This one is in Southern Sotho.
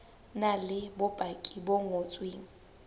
na le bopaki bo ngotsweng